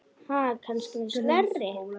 Ha, kannski með slöri?